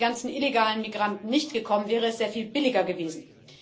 Wären die ganzen illegalen Migranten nicht gekommen, wäre es sehr viel billiger gewesen.